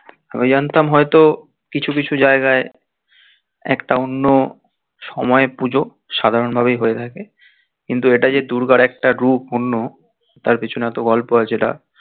আমি জানতাম হয়তো কিছু কিছু জায়গায় একটা অন্য সময়ের পুজো সাধারণ ভাবে হয়ে থাকে কিন্তু এটা যে দুর্গার একটা রূপ অন্য তার পেছনে এত গল্প আছে একটা